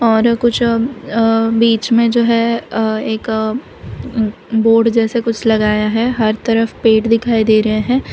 और कुछ अ अ बीच में जो है अ एक बोर्ड जैसे कुछ लगाया है हर तरफ पेड़ दिखाई दे रहे हैं।